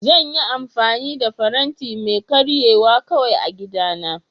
Zan yi amfani da faranti mai karyewa kawai a gidana